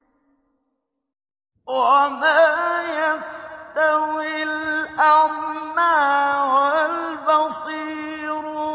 وَمَا يَسْتَوِي الْأَعْمَىٰ وَالْبَصِيرُ